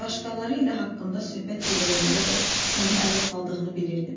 Başqaları ilə haqqımda söhbət eləyəndə də məni ələ saldığını bilirdim.